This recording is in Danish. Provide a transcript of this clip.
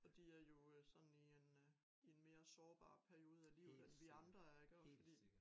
Og de er jo sådan i en øh i en mere sårbar periode af livet end vi andre er iggå fordi